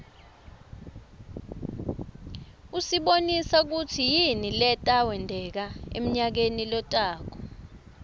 usibonisa kutsi yini leta wenteka emnayakeni lotako